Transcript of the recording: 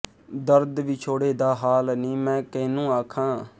ਦਰਦ ਵਿਛੋੜੇ ਦਾ ਹਾਲ ਨੀ ਮੈਂ ਕੈਨੂੰ ਆਖਾਂ